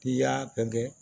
I y'a kɛ